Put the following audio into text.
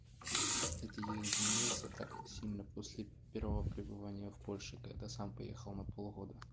кстати я изменился так сильно после первого пребывания в польше когда сам поехал на пол года